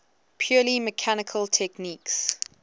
purely mechanical techniques